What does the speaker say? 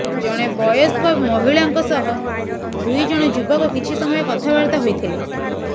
ଜଣେ ବୟସ୍କ ମହିଳାଙ୍କ ସହ ଦୁଇ ଜଣ ଯୁବକ କିଛି ସମୟ କଥାବାର୍ତ୍ତା ହୋଇଥିଲେ